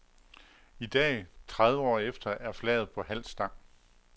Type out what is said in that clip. I dag, tredive år efter, er flaget på halv stang.